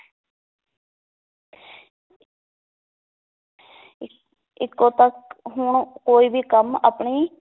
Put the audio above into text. ਇ~ ਇੱਕੋ ਹੁਣ ਕੋਈ ਵੀ ਕੰਮ ਆਪਣੀ